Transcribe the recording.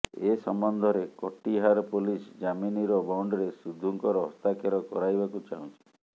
ଏ ସମ୍ବନ୍ଧରେ କଟିହାର ପୋଲିସ୍ ଜାମିନର ବଣ୍ଡରେ ସିଦ୍ଧୁଙ୍କର ହସ୍ତାକ୍ଷର କରାଇବାକୁ ଚାହୁଁଛି